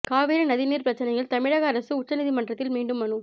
காவிரி நதி நீர் பிரச்சனையில் தமிழக அரசு உச்சநீதிமன்றத்தில் மீண்டும் மனு